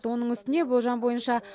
оның үстіне болжам бойынша